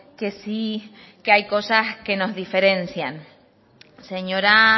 que sí que hay cosas que nos diferencian señora